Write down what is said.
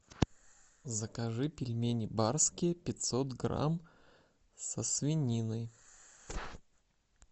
закажи пельмени барские пятьсот грамм со свининой